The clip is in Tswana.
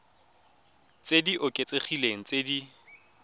tse di oketsegileng tse di